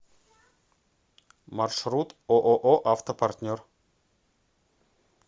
маршрут ооо автопартнер